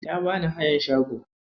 Ya bani hayan shago.